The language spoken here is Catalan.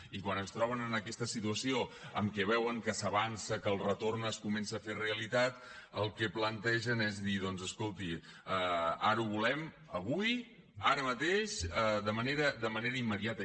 i quan es troben en aquesta situació en què veuen que s’avança que el retorn es comença a fer realitat el que plantegen és dir doncs escolti ara ho volem avui ara mateix de manera immediata